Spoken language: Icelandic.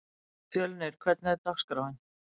Fjölnir, hvernig er dagskráin?